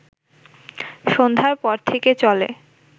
সন্ধ্যার পর থেকে চলে